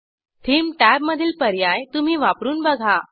theme टॅबमधील पर्याय तुम्ही वापरून बघा